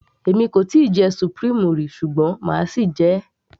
èmi kò tíì jẹ supreme rí ṣùgbọ́n máa sì jẹ ẹ́